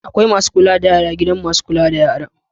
Akwai Masu kula da yara gidan masu kula da yara